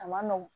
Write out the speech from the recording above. A man nɔgɔn